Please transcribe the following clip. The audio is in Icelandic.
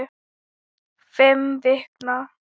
Fimm vikna.